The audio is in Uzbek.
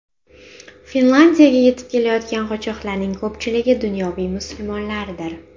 Finlyandiyaga yetib kelayotgan qochoqlarning ko‘pchiligi dunyoviy musulmonlardir.